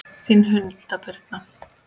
Þín Hulda Birna.